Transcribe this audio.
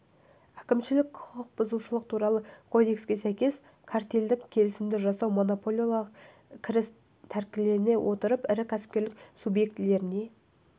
әкімшілік құқық бұзушылық туралы кодекске сәйкес картельдік келісімді жасау монополиялық кіріс тәркілене отырып ірі кәсіпкерлік субъектілеріне